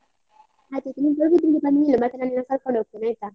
ಆಯ್ತಾಯ್ತು, ನೀನು ಪಡುಬಿದ್ರೆಗೆ ಬಂದ್ಮೇಲೆ ಹೇಳು, ಮತ್ತೆ ನಾನ್ ನಿನ್ನನ್ನ ಕರ್ಕೊಂಡು ಹೋಗ್ತೇನೆ ಆಯ್ತಾ.